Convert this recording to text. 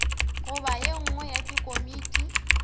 goba ye nngwe ya dikomiti